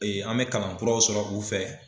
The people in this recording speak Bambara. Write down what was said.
an mɛ kalankuraw sɔrɔ u fɛ.